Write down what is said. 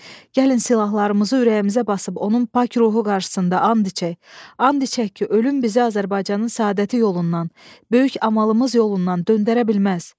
gəlin silahlarımızı ürəyimizə basıb onun pak ruhu qarşısında ant içək, ant içək ki, ölüm bizi Azərbaycanın səadəti yolundan, böyük amalımız yolundan döndərə bilməz.